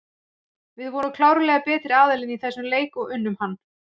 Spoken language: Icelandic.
Við vorum klárlega betri aðilinn í þessum leik og unnum hann.